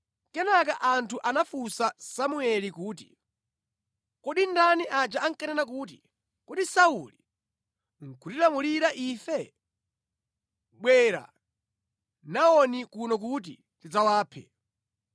Kenaka anthu anafunsa Samueli kuti, “Kodi ndani aja ankanena kuti, ‘Kodi Sauli nʼkutilamulira ife?’ Bwera nawoni kuno kuti tidzawaphe.”